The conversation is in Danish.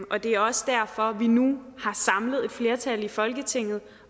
og det er også derfor vi nu har samlet et flertal i folketinget